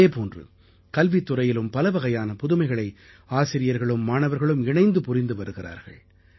இதே போன்று கல்வித்துறையிலும் பலவகையான புதுமைகளை ஆசிரியர்களும் மாணவர்களும் இணைந்து புரிந்து வருகிறார்கள்